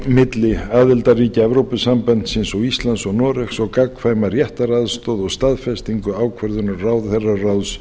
milli aðildarríkja evrópusambandsins og íslands og noregs og gagnkvæma réttaraðstoð og staðfestingu ákvörðunar ráðherraráðs